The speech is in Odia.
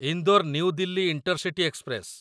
Indore New Delhi intercity express